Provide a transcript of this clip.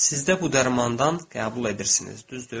Siz də bu dərmandan qəbul edirsiniz, düzdür?